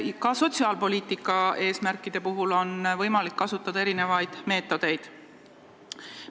Ka sotsiaalpoliitika eesmärkide saavutamiseks on võimalik kasutada erinevaid meetodeid.